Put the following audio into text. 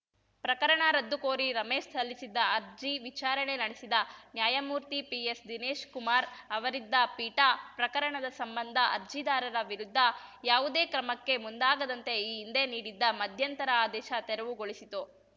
ಪ್ರಕರಣ ರದ್ದುಕೋರಿ ರಮೇಶ್‌ ಸಲ್ಲಿಸಿದ್ದ ಅರ್ಜಿ ವಿಚಾರಣೆ ನಡೆಸಿದ ನ್ಯಾಯಮೂರ್ತಿ ಪಿಎಸ್‌ ದಿನೇಶ್‌ ಕುಮಾರ್‌ ಅವರಿದ್ದ ಪೀಠ ಪ್ರಕರಣದ ಸಂಬಂಧ ಅರ್ಜಿದಾರರ ವಿರುದ್ಧ ಯಾವುದೇ ಕ್ರಮಕ್ಕೆ ಮುಂದಾಗದಂತೆ ಈ ಹಿಂದೆ ನೀಡಿದ್ದ ಮಧ್ಯಂತರ ಆದೇಶ ತೆರವುಗೊಳಿಸಿತು